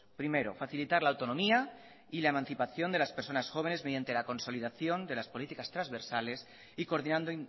primero facilitar la autonomía y la emancipación de las personas jóvenes mediante la consolidación de las políticas transversales y coordinando